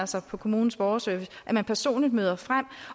sig på kommunens borgerservice at man personligt møder frem